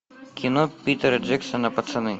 кино питера джексона пацаны